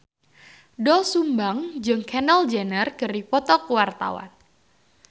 Doel Sumbang jeung Kendall Jenner keur dipoto ku wartawan